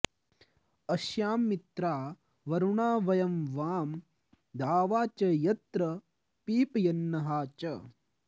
अ॒श्याम॑ मित्रावरुणा व॒यं वां॒ द्यावा॑ च॒ यत्र॑ पी॒पय॒न्नहा॑ च